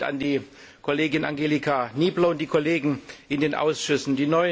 Mein Dank geht an die Kollegin Angelika Niebler und die Kollegen in den Ausschüssen.